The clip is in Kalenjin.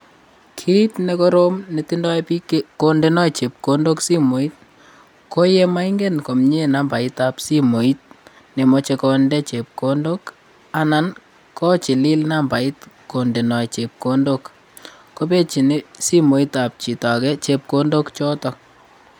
Kit nekoroom netindoi biik kondenoi chepkondok simooit koyemaingen komiee nambaitab simooit nemochei konde chepkondok. Anan kochililnambait kondenoi chepkondok kopejin simooitab chito age chepkondok choto.